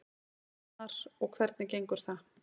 Arnar: Og hvernig gengur það?